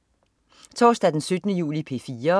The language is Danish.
Torsdag den 17. juli - P4: